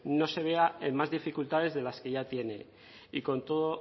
no se vea en más dificultades de las que ya tiene y con todo